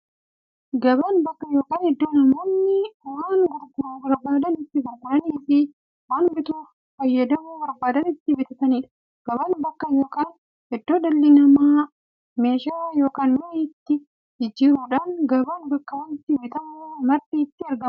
Gabaan bakka yookiin iddoo namoonni waan gurguruu barbaadan itti gurguraniifi waan itti fayyadamuu barbaadan itti bitataniidha. Gabaan bakka yookiin iddoo dhalli namaa meeshaa yookiin mi'a itti waljijjiiraniidha. Gabaan bakka wanti bitamu marti itti argamuudha.